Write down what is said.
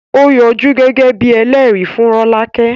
Ó yọjú gẹ́gẹ́ bíi ẹlẹ́rìí fún Rolake